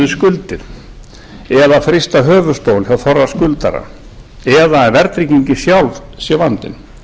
skuldir eða að frysta höfuðstól hjá þorra skuldara eða verðtryggingin sjálf sem vandinn